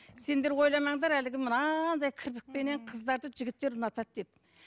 сендер ойламаңдар әлгі мынандай кірпікпенен қыздарды жігіттер ұнатады деп